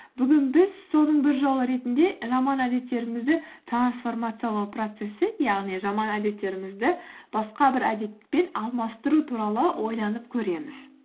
бүгін біз соның бір жолы ретінде жаман әдеттерімізді трансформациялау процессі яғни жаман әдеттерімізді басқа бір әдетпен алмастыру туралы ойланып көреміз